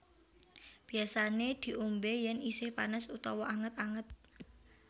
Biasané diombé yén isih panas utawa anget anget